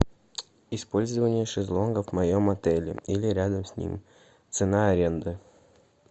использование шезлонгов в моем отеле или рядом с ним цена аренды